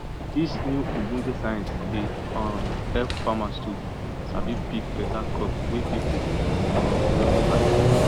dis new ogbonge science dey um help farmers to sabi pick beta crop wey people um go wan buy